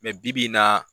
bi-bi in na